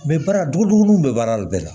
baara duguduguninw bɛ baara de bɛɛ la